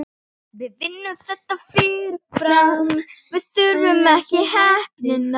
Súpa í boði eftir messu.